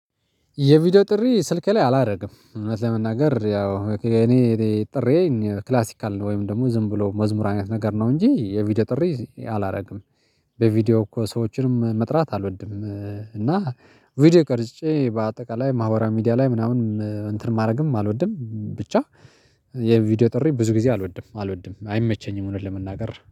የቪዲዮ ጥሪ ስልክ ላይ አላደርግም እውነት ለመናገር ያው እኔ ጥሬን ክላሲካል ነው ወይም ደግሞ ዝም ብሎ መዝሙር አይነት ነገር ነው እንጂ የቪዲዮ ጥሪ አላደርግም። በቪዲዮ እኮ ሰዎችንም መጥራት አልወድም እና ቪዲዮ ቀርጬ በአጠቃላይ ማህበራዊ ሚዲያ ላይ ምናምን እንትንም ማድረግም አልወድም ብቻ የቪዲዮ ጥሪ ብዙ ጊዜ አልወድም አልወድም አይመቸኝም እውነት ለመናገር